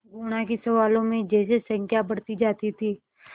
गुणा के सवालों में जैसे संख्या बढ़ती जाती थी